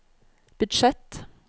budsjett